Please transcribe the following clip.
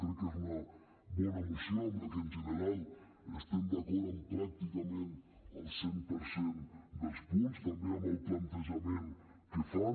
crec que és una bona moció amb la que en general estem d’acord en pràcticament el cent per cent dels punts també amb el plantejament que fan